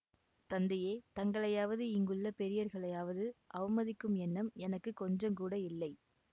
தந்தையே தங்களையாவது இங்குள்ள பெரியவர்களையாவது அவமதிக்கும் எண்ணம் எனக்கு கொஞ்சங்கூட இல்லை